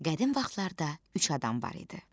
Qədim vaxtlarda üç adam var idi.